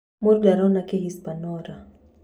Mũndũ Ndoro- na Kĩ hispaniora.